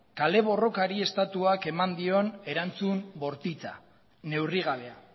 kale borrokari estatuak eman dion erantzun bortitza neurrigabea